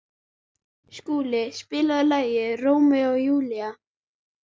Skúla, spilaðu lagið „Rómeó og Júlía“.